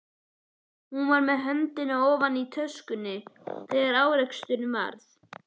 Hún var með höndina ofan í töskunni þegar áreksturinn varð.